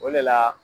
O de la